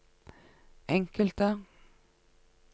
enkelte